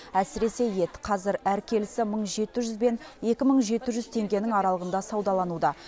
әсіресе ет қазір әр келісі мың жеті жүз бен екі мың жеті жүз теңгенің аралығында саудалануда